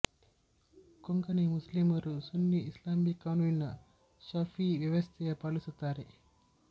ಕೊಂಕಣಿ ಮುಸ್ಲಿಮರು ಸುನ್ನಿ ಇಸ್ಲಾಮಿಕ್ ಕಾನೂನಿನ ಶಫೀಇ ವ್ಯವಸ್ಥೆಯ ಪಾಲಿಸುತ್ತಾರೆ